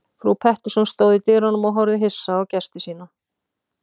Frú Pettersson stóð í dyrunum og horfði hissa á gesti sína.